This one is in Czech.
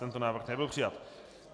Tento návrh nebyl přijat.